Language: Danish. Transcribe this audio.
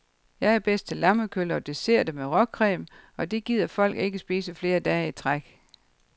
Jeg er bedst til lammekølle og desserter med råcreme, og det gider folk ikke spise flere dage i træk.